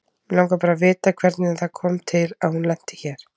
Mig langar bara að vita hvernig það kom til að hún lenti hér.